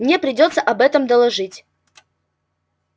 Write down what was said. мне придётся об этом доложить